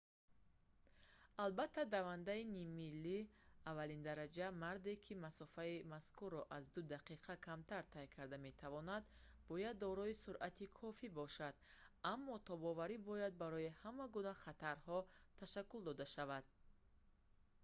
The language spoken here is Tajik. албатта давандаи ниммили аввалиндараҷа марде ки масофаи мазкурро аз ду дақиқа камтар тай карда метавонад бояд дорои суръати кофӣ бошад аммо тобоварӣ бояд барои ҳама гуна хатарҳо ташаккул дода шавад